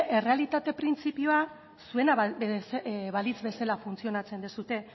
errealitate printzipioa zuena balitz bezala funtzionatzen duzue